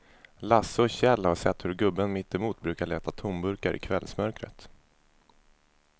Lasse och Kjell har sett hur gubben mittemot brukar leta tomburkar i kvällsmörkret.